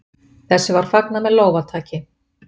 Þessu var fagnað með lófataki.